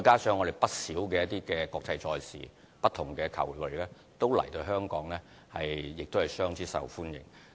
此外，不少國際賽事，包括不同的球類項目均來香港作賽，亦相當受歡迎。